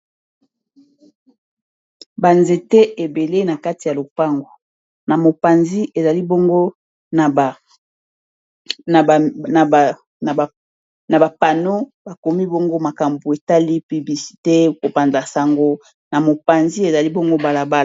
Ba nzete ebele na kati ya lopango na mopanzi ezali bongo ba panneau bakomi bongo makambo etali publicité kopanza sango na mopanzi ezali bongo balabala